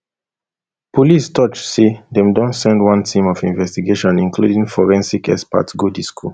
police toj say dem don send one team of investigators including forensics experts go di school